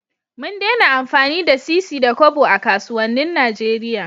Mun dena amfani da sisi da Kobo a kasuwanin Nigeria